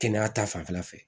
Kɛnɛya ta fanfɛla fɛ